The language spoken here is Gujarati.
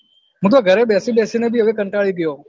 હું તો હવે ઘરે બેસી બેસી ને ભી હવે કંટાળી ગયો